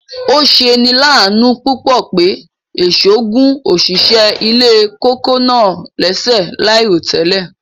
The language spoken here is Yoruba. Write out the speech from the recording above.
Ọ̀ sẹ̀ ni làánú púpọ̀ pé èṣọ̀ gún ọ̀ṣìṣẹ̀ ilẹ̀ kòkó̀ náà lẹ̀ṣẹ̀ laírotẹlẹ̀.